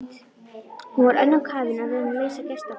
Hún var önnum kafin við að reyna að leysa gestaþraut.